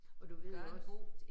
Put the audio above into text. Og du ved jo også